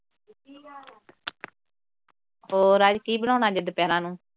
ਹੋਰ ਅੱਜ ਕੀ ਬਣਾਉਣਾ ਗੇ ਫਿਰ ਦੁਪਿਹਰਾਂ ਨੂੰ।